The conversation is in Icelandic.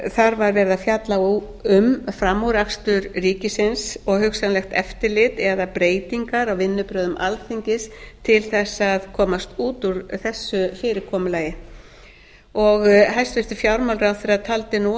þar var verið að fjalla um frammúrakstur ríkisins og hugsanlegt eftirlit eða breytingar á vinnubrögðum alþingis til þess að komast út úr þessu fyrirkomulagi hæstvirtur fjármálaráðherra taldi að